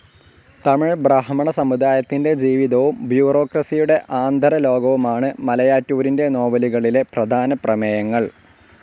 തമിഴ് ബ്രാഹ്മണ സമുദായത്തിൻ്റെ ജീവിതവും ബ്യൂറോക്രസിയുടെ ആന്തരലോകവുമാണ് മലയാറ്റൂരിൻ്റെ നോവലുകളിലെ പ്രധാന പ്രമേയങ്ങൾ.